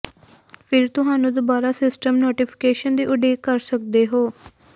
ਫਿਰ ਤੁਹਾਨੂੰ ਦੁਬਾਰਾ ਸਿਸਟਮ ਨੋਟੀਫਿਕੇਸ਼ਨ ਦੀ ਉਡੀਕ ਕਰ ਸਕਦੇ ਹੋ